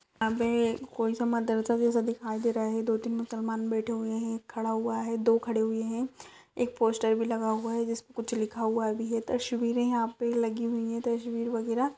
यहां पे कोई सा मदरसा जैसा दिखाई दे रहा हैं दो-तीन मुसलमान बैठे हुए हैं खड़ा हुआ हैं दो खड़े हुए हैं एक पोस्टर भी लगा हुआ हैं जिस पर कुछ लिखा हुआ हैं भी ये तश्वीरें हैं यहां पे लगी हुई हैं तश्वीर वगैराह--